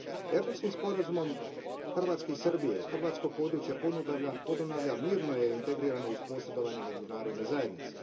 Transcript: Erdutskim sporazumom Hrvatske i Srbije, hrvatsko područje Podunavlja mirno je integrirano uz posredovanje međunarodne zajednice.